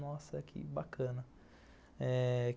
Nossa, que bacana.